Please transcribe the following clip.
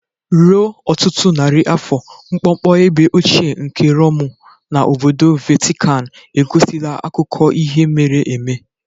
Ruo ọtụtụ narị afọ, mkpọmkpọ ebe ochie nke Romu na obodo Vatikan egosila akụkọ ihe mere eme.